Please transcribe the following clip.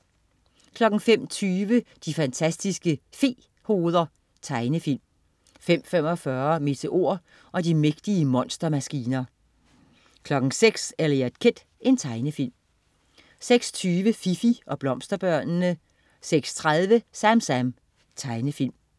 05.20 De fantastiske fe-hoveder. Tegnefilm 05.45 Meteor og de mægtige monstermaskiner 06.00 Eliot Kid. Tegnefilm 06.20 Fifi og blomsterbørnene 06.30 SamSam. Tegnefilm